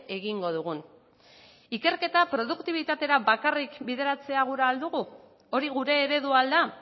egingo dugun ikerketa produktibitatera bakarrik bideratzea gura ahal dugu hori gure eredua al da